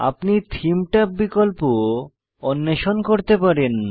আপনি থেমে ট্যাব বিকল্প অন্বেষণ করতে পারেন